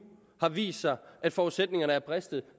vist sig at forudsætningerne er bristet